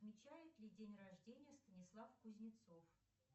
отмечает ли день рождения станислав кузнецов